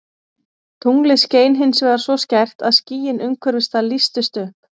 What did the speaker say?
Tunglið skein hins vegar svo skært að skýin umhverfis það lýstust upp.